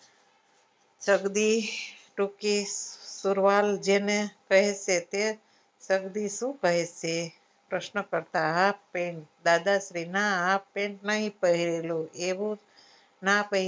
જગદી ટુકી તુર્વાલ જેને પહેરશે તે જગદી શું કહે છે પ્રશ્ન કરતા pant દાદાશ્રી ના નહિ પહરેલું એવું ના પહેરેવું એવું